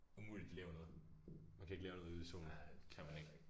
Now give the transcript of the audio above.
Umuligt de laver noget man kan ikke lave noget ude i solen det kan man ikke